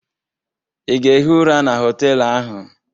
Ị ga-ehi ụra na họtelụ ahụ?